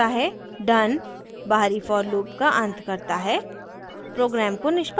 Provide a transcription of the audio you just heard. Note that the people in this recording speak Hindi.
done बाहरी for लूप का अंत करता है प्रोग्राम को निष्पादित करें